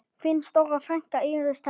Þín stóra frænka, Íris Thelma.